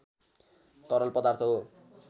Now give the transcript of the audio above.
तरल पदार्थ हो